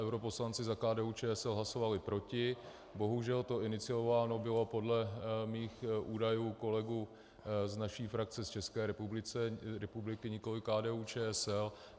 Europoslanci za KDU-ČSL hlasovali proti, bohužel to iniciováno bylo podle mých údajů kolegů z naší frakce z České republiky, nikoli KDU-ČSL.